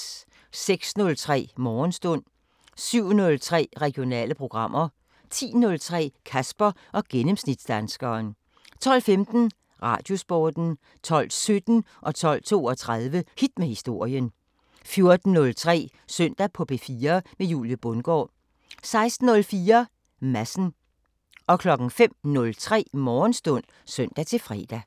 06:03: Morgenstund 07:03: Regionale programmer 10:03: Kasper og gennemsnitsdanskeren 12:15: Radiosporten 12:17: Hit med historien 12:32: Hit med historien 14:03: Søndag på P4 med Julie Bundgaard 16:04: Madsen 05:03: Morgenstund (søn-fre)